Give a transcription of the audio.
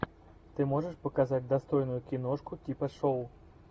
ты можешь показать достойную киношку типа шоу